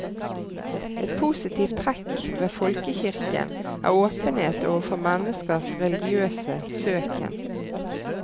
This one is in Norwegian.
Et positivt trekk ved folkekirken er åpenhet overfor menneskers religiøse søken.